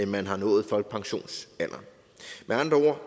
man har nået folkepensionsalderen med andre